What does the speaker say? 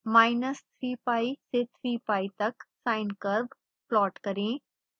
minus 3 pi से 3 pi तक sine curve plot करें